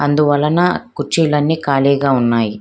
అందువలన కుర్చీలన్నీ ఖాళీగా ఉన్నాయి.